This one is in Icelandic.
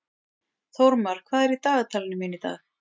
Þórmar, hvað er í dagatalinu mínu í dag?